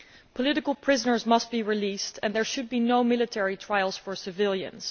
Political prisoners must be released and there should be no military trials for civilians.